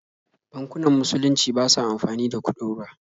Bankunan musulunci ba sa amfani da kuɗin ruwa.